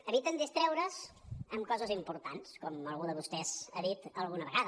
eviten distreure’s amb coses importants com algú de vostès ha dit alguna vegada